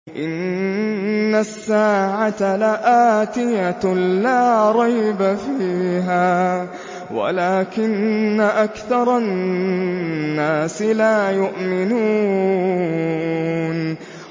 إِنَّ السَّاعَةَ لَآتِيَةٌ لَّا رَيْبَ فِيهَا وَلَٰكِنَّ أَكْثَرَ النَّاسِ لَا يُؤْمِنُونَ